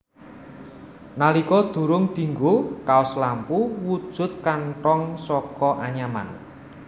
Nalika durung dinggo kaos lampu wujud katong saka anyaman